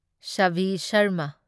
Savi Sharma